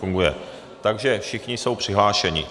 Funguje, takže všichni jsou přihlášeni.